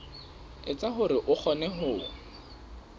etsa hore o kgone ho